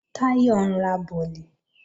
Táyọ̀ ń ra bọ̀lì